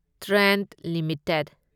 Trent limited